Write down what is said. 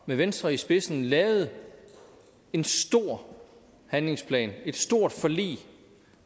med venstre i spidsen lavede en stor handlingsplan et stort forlig